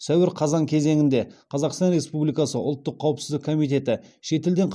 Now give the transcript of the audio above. сәуір қазан кезеңінде қазақстан республикасы ұлттық қауіпсіздік комитеті шетелден